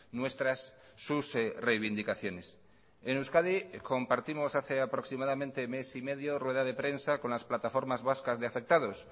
nuestras sus reivindicaciones en euskadi compartimos hace aproximadamente mes y medio rueda de prensa con las plataformas vascas de afectados